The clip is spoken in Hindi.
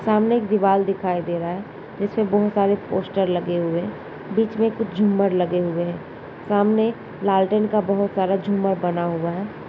सामने एक दीवार दिखाई दे रहा है जिसमें बहुत सारे पोस्टर लगे हुए है। बीच में झूमर लगे हुए हैं सामने लालटेन का बहुत सारा झूमर बना हुआ है।